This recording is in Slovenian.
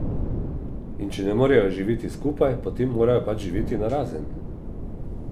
In če ne morejo živeti skupaj, potem morajo pač živeti narazen.